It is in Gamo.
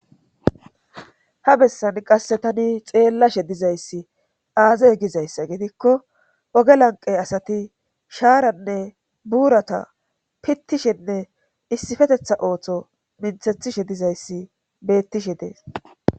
Ha bessan qasse tani xeellashe dizayssi aazay gizayssa gidikko oge lanqey asati shaaranne buurata pittishenne issippetetha ooththo minthethishe dizayssi beettishe dees.